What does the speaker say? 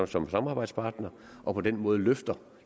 som samarbejdspartner og på den måde løfter